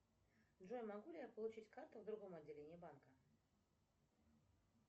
джой могу ли я получить карту в другом отделении банка